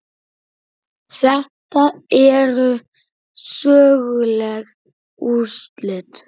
Þetta eru söguleg úrslit.